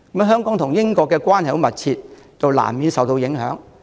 香港和英國關係十分密切，難免因此受到影響。